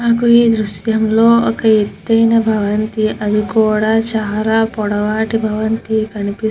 మనకి ఈ దృశ్యం లో ఎత్తైన భవంతి ఆది కూడా చాల పొడవాటి బవంతి కనిపిస్తూ --